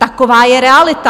Taková je realita.